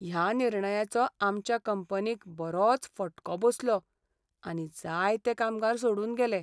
ह्या निर्णयाचो आमच्या कंपनीक बरोच फटको बसलो आनी जायते कामगार सोडून गेले.